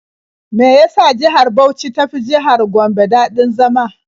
Me ya sa jihar Bauch ta fi jihar Gombe daɗin zama?